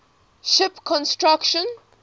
ship construction